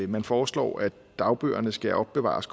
man foreslår at dagbøgerne skal opbevares